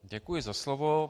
Děkuji za slovo.